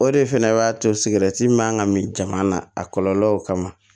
O de fɛnɛ b'a to sigɛrɛti min man ka min jama na a kɔlɔlɔw kama